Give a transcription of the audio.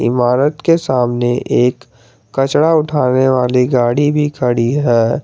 इमारत के सामने एक कचड़ा उठाने वाली गाड़ी भी खड़ी है।